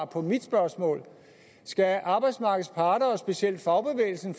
på mit spørgsmål skal arbejdsmarkedets parter og specielt fagbevægelsen